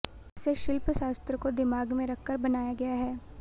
इसे शिल्प शास्त्र को दिमाग में रखकर बनाया गया है